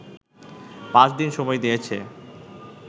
পাঁচদিন সময় দিয়েছে